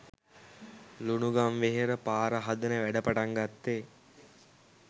ලුණුගම්වෙහෙර පාර හදන වැඩ පටන් ගත්තේ